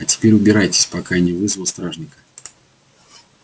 а теперь убирайтесь пока я не вызвал стражника